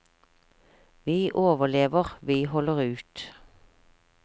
Vi overlever, vi holder ut.